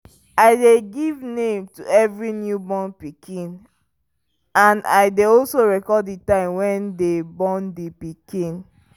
i dey give name to every new born pikin and i dey also record the time when dem the pikin